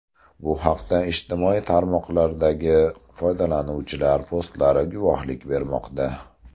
Bu haqda ijtimoiy tarmoqlardagi foydalanuvchilar postlari guvohlik bermoqda.